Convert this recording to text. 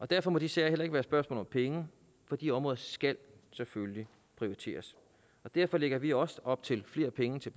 derfor må de sager heller ikke være et spørgsmål om penge for de områder skal selvfølgelig prioriteres derfor lægger vi også op til flere penge til